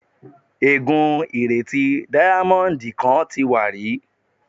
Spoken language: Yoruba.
Ègú́n ìrètí díámọ́ńdì kan ti wà rí.